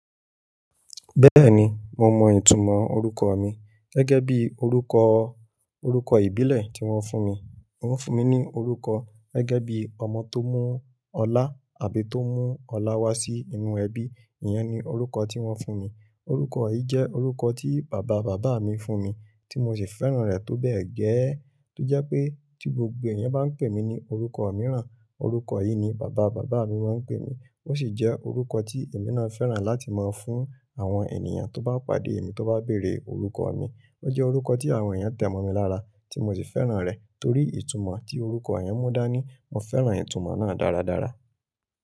Bẹ́ẹ̀ni, mo mọ ìtumọ̀ orúkọ mi. Gẹ́gẹ́ bí orúkọ, orúkọ ìbílẹ̀ tí wọ́n fún mi. Wọ́n fún mi ní orúkọ gẹ́gẹ́ bí ọmọ tó mú ọlá àbí tó mú ọlá wá sí inú ẹbí. Iyẹn ni orúkọ tí wọ́n fún mi. Orúkọ yìí jẹ́ orúkọ tí bàba-bàbá mi fún mi tí mo sì fẹ́ràn rẹ̀ tó bẹ́ẹ̀ gẹ́. Tó jẹ́ pé tí gbogbo ẹ̀yàn bá ń pè mí ní orúkọ mìíràn, orúkọ yìí ni bàba-bàbá mi máa ń pè mí. Ó sì jẹ́ orúkọ tí èmi náà fẹ́ràn láti máa fún àwọn ènìyàn tó bá pàdé mi tó bá béèrè orúkọ mi. Ó jẹ́ orúkọ tí àwọn ènìyàn tẹ̀ mọ́ mi lára, tí mo sì fẹ́ràn rẹ̀ torí ìtumọ̀ tí orúkọ yẹn mú dá ní. Mo fẹ́ràn ìtumọ̀ náà dáradára.